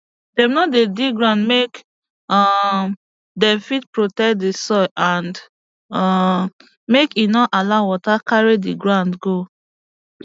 dem no dey dig ground make um dem fit protect di soil and um make e no allow water carry di ground go